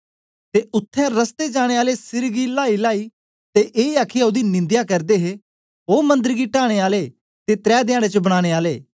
ते उत्थें रस्ते जाने आले सिर गी लाईलाई ते ए आखीयै ओदी निंदया करदे हे ओ मंदर गी टाने आले ते त्रै धयाडें च बनाने आले